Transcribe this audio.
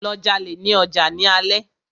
Lọ jalè ní ọjà ní alé!